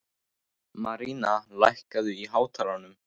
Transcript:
Maríanna, lækkaðu í hátalaranum.